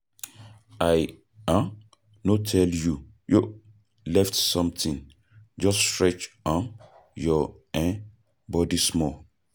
I um no tell you yo lift something, just stretch um your um body small.